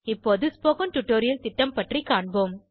இப்போது spoken tutorial திட்டம் பற்றி காண்போம்